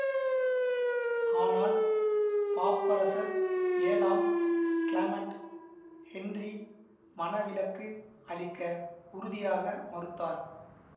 ஆனால் பாப்பரசர் ஏழாம் கிளமன்ட் ஹென்றி மணவிலக்கு அளிக்க உறுதியாக மறுத்தார்